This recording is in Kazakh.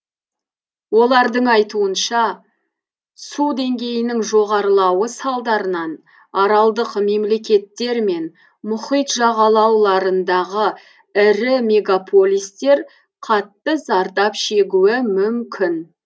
олардың айтуынша су деңгейінің жоғарлауы салдарынан аралдық мемлекеттер мен мұхит жағалауларындағы ірі мегаполистер қатты зардап шегуі мүмкін